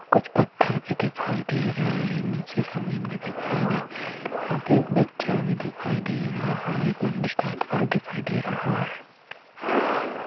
कुछ पत्थर भी दिखाई दे रहे हैं| नीचे जमीन भी दिखाई दे-- यहाँ पे एक बच्चा भी दिखाई दे रहा है| एक मंदिर टाइप का दिखाई दे रहा है।